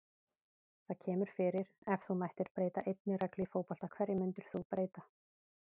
Það kemur fyrir Ef þú mættir breyta einni reglu í fótbolta, hverju myndir þú breyta?